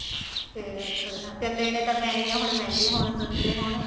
ਫੇਰ ਥੋੜਾ ਜਾ ਚੱਲ ਲੇਣੇ ਤਾਂ ਪੈਣੇ ਈ ਨੇ ਹੁਣ ਮਹਿੰਗੇ ਹੋਣ ਸਸਤੇ ਹੋਣ